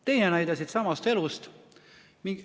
Teine näide siitsamast elust.